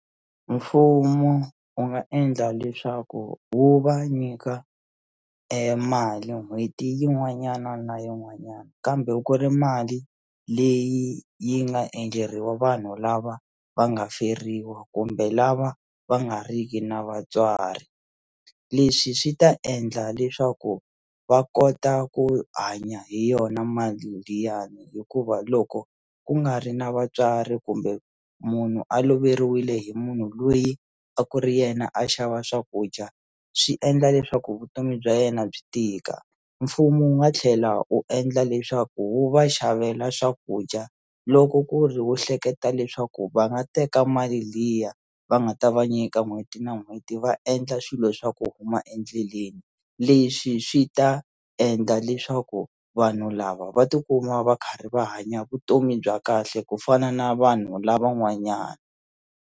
Mfumo wu nga endla leswaku wu va nyika mali n'hweti yin'wana na yin'wanyana kambe ku ri mali leyi yi nga endleriwa vanhu lava va nga feriwa kumbe lava va nga riki na vatswari leswi swi ta endla leswaku va kota ku hanya hi yona mali liyani hikuva loko ku nga ri na vatswari kumbe munhu a loveriwile hi munhu loyi a ku ri yena a xava swakudya swi endla leswaku vutomi bya yena byi tika mfumo wu nga tlhela u endla leswaku wu va xavela swakudya loko ku ri wu hleketa leswaku va nga teka mali liya va nga ta va nyika n'hweti leti na n'hweti va endla swilo swa ku huma endleleni leswi swi ta endla leswaku vanhu lava va tikuma va karhi va hanya vutomi bya kahle ku fana na vanhu lava n'wanyana.